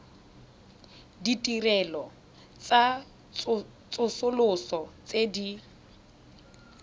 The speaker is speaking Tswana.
ditirelo tsa tsosoloso tse di